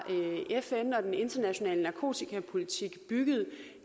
fn og den internationale narkotikapolitik bygget